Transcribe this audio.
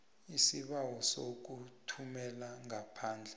isibawo sokuthumela ngaphandle